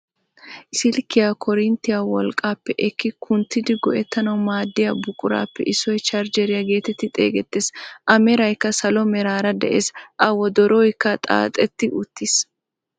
silkkiyaa korinttiyaa wolqqaappe ekki kunttidi go"etanawu maaddiyaa buquraappe issoy charjeriyaa geetettidi xeegettees. A meraykka salo meraara de'ees. A wodorooykka xaaxatti uttiis.